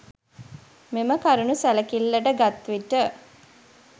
මෙම කරුණු සැලකිල්ලට ගත් විට